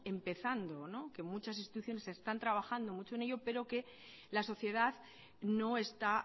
empezando que muchas instituciones están trabajando mucho en ello pero que la sociedad no está